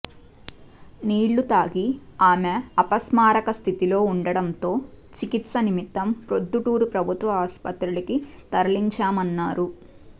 నీళ్లు తాగి ఆమె అపస్మారక స్థితిలో ఉండటంతో చికిత్స నిమిత్తం ప్రొద్దుటూరు ప్రభుత్వ ఆసుపత్రికి తరలించామన్నారు